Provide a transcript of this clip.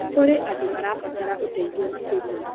Kũrĩ andũ marabatara ũteithio makĩria.